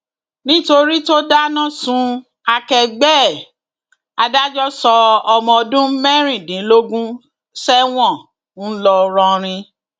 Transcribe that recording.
nítorí tó dáná sun akẹgbẹ ẹ adájọ sọ ọmọ ọdún mẹrìndínlógún sẹwọn ńlọrọrin